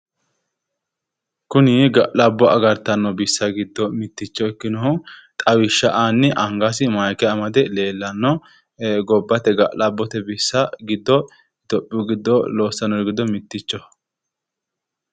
Kuni ga'labbo agartanno bissa giddo mitticho ikkinohu xawishsha aanni angasi maayike amade leellanno, gobbate ga'labote bissa giddo iitiyoophiyu giddo loossannori giddo mittichoho.